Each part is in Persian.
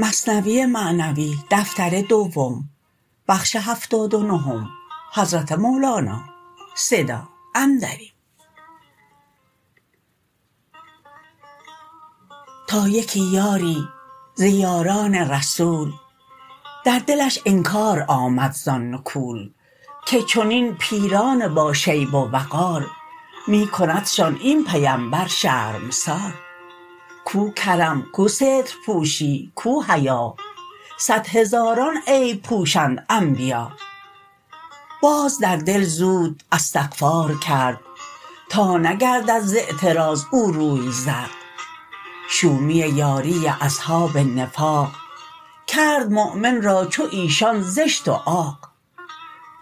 تا یکی یاری ز یاران رسول در دلش انکار آمد زان نکول که چنین پیران با شیب و وقار می کندشان این پیمبر شرمسار کو کرم کو سترپوشی کو حیا صد هزاران عیب پوشند انبیا باز در دل زود استغفار کرد تا نگردد ز اعتراض او روی زرد شومی یاری اصحاب نفاق کرد مؤمن را چو ایشان زشت و عاق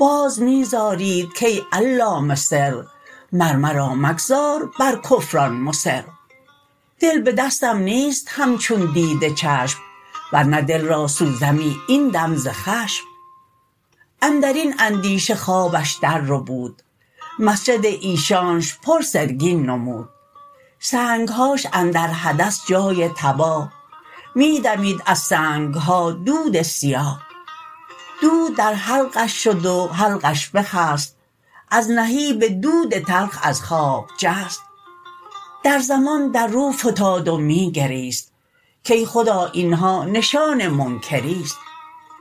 باز می زارید کای علام سر مر مرا مگذار بر کفران مصر دل به دستم نیست همچون دید چشم ورنه دل را سوزمی این دم ز خشم اندرین اندیشه خوابش در ربود مسجد ایشانش پر سرگین نمود سنگهاش اندر حدث جای تباه می دمید از سنگها دود سیاه دود در حلقش شد و حلقش بخست از نهیب دود تلخ از خواب جست در زمان در رو فتاد و می گریست کای خدا اینها نشان منکریست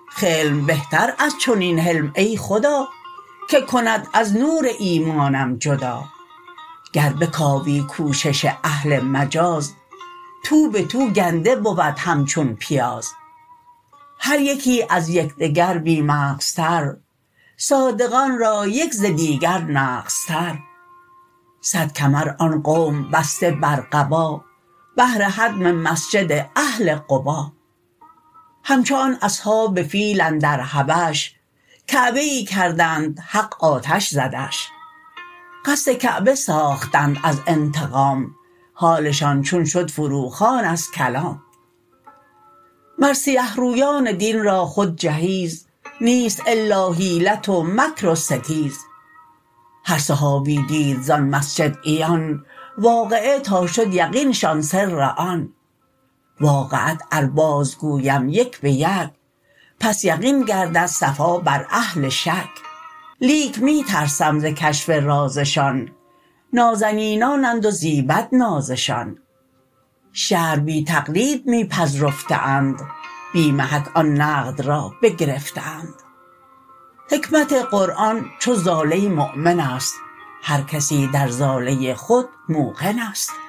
خلم بهتر از چنین حلم ای خدا که کند از نور ایمانم جدا گر بکاوی کوشش اهل مجاز تو بتو گنده بود همچون پیاز هر یکی از یکدگر بی مغزتر صادقان را یک ز دیگر نغزتر صد کمر آن قوم بسته بر قبا بهر هدم مسجد اهل قبا همچو آن اصحاب فیل اندر حبش کعبه ای کردند حق آتش زدش قصد کعبه ساختند از انتقام حالشان چون شد فرو خوان از کلام مر سیه رویان دین را خود جهیز نیست الا حیلت و مکر و ستیز هر صحابی دید زان مسجد عیان واقعه تا شد یقینشان سر آن واقعات ار باز گویم یک بیک پس یقین گردد صفا بر اهل شک لیک می ترسم ز کشف رازشان نازنینانند و زیبد نازشان شرع بی تقلید می پذرفته اند بی محک آن نقد را بگرفته اند حکمت قرآن چو ضاله مؤمن است هر کسی در ضاله خود موقن است